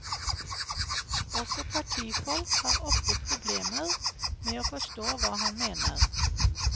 Også partifolk har ofte problemer med å forstå hva han mener.